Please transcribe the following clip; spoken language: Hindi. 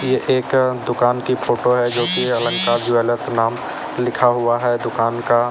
ए एक दुकान की फोटो है जो की अलंकार ज्वेलर्स नाम लिखा हुआ है दुकान का।